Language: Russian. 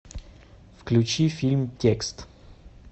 включи фильм текст